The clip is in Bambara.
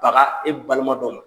A ka e balima dɔ ma.